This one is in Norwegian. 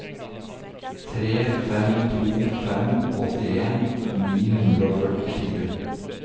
tre fem to fem åttien ni hundre og førtifire